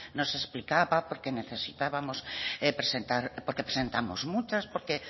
nos explicaba porque presentamos muchas